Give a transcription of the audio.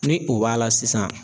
Ni o b'a la sisan